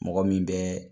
Mɔgɔ min bɛ